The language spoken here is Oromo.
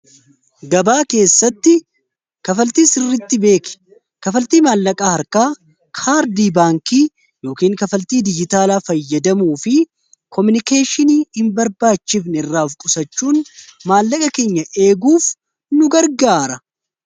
Gabaa keessatti kafaltii sirritti beeki. Kafaltii maallaqaa harkaa, kaardii baankii yookiin kafaltii dijitaalaa fayyadamuu fi komunikeeshinii hin barbaachifne irraa of qusachuun maallaqa keenya eeguuf nu gargaara.